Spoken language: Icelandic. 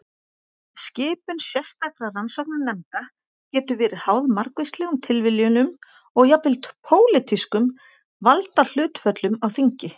Skipun sérstakra rannsóknarnefnda getur verið háð margvíslegum tilviljunum og jafnvel pólitískum valdahlutföllum á þingi.